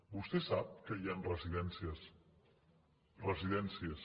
vostè sap que hi han residències residències